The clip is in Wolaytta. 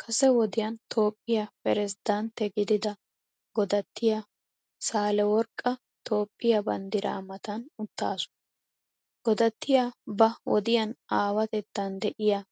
Kase wodiyan Toophphiyaa piraziddantte gidida goddattiyaa Saahileworqqa Toophphiyaa banddiraa matan uttaasu. Godattiyaa ba wodiyaan aawatettan de'iyaa